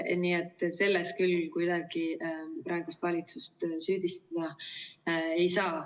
Nii et selles küll kuidagi praegust valitsust süüdistada ei saa.